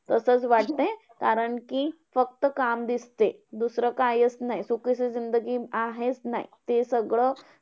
तसंच वाटतंय. कारण कि फक्त काम दिसते. दुसरं कायच नाही, सुखींची आहेच नाही. ते सगळं